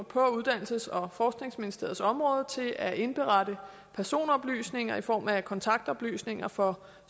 på uddannelses og forskningsministeriets område til at indberette personoplysninger i form af kontaktoplysninger for